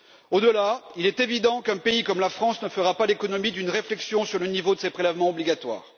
Au delà de cela, il est évident qu'un pays comme la France ne fera pas l'économie d'une réflexion sur le niveau de ses prélèvements obligatoires.